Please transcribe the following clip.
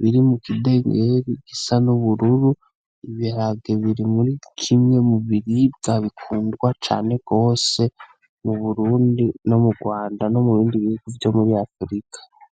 biri mu kidengeri gisa n'ubururu. Ibiharage biri muri kimwe mu biribwa bikundwa cane gose mu Burundi no mu Rwanda no mu bindi bihugu vyo muri Afrika.